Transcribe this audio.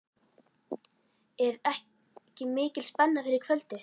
Er ekki mikil spenna fyrir kvöldið?